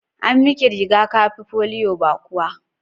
An miki riga-kafi polio ba kuwa?